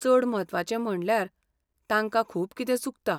चड म्हत्वाचें म्हणल्यार, तांकां खूब कितें चुकता.